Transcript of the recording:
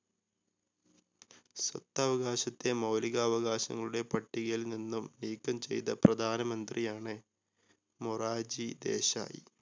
സ്വത്തവകാശത്തെ മൗലിക അവകാശങ്ങളുടെ പട്ടികയിൽ നിന്നും നീക്കം ചെയ്ത പ്രധാനമന്ത്രിയാണ് മൊറാർജി ദേശായ്.